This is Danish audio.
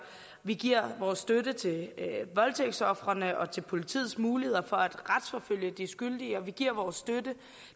vi giver vores støtte til voldtægtsofrene og til politiets muligheder for at retsforfølge de skyldige og vi giver også vores støtte